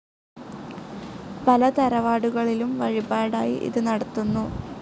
പല തറവാടുകളിലും വഴിപാടായി ഇത് നടത്തുന്നു.